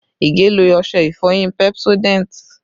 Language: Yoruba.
Ige lo ọṣẹ ìfọyín Pepsodent